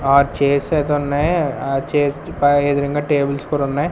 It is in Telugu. ఆ చేసే అతన్నే ఎదురుంగా టేబుల్స్ కూడున్నయ్.